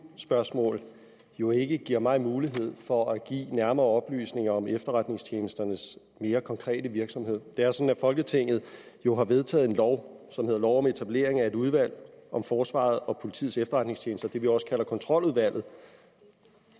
spørgsmål jo ikke giver mig mulighed for at give nærmere oplysninger om efterretningstjenesternes mere konkrete virksomhed det er sådan at folketinget jo har vedtaget en lov som hedder lov om etablering af et udvalg om forsvarets og politiets efterretningstjenester det vi også kalder kontroludvalget